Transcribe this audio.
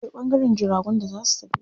Akwai ɓangaren jiragun da za su tafi.